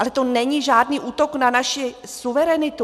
Ale to není žádný útok na naši suverenitu.